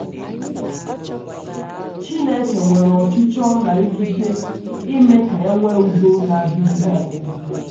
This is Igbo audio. Chineke nwere ọchịchọ na ikike ime ka e nwee udo na - adịgide adịgide.